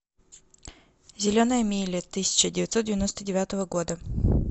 зеленая миля тысяча девятьсот девяносто девятого года